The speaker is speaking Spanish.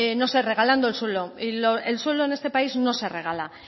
no sé regalando el suelo y el suelo en este país no se regala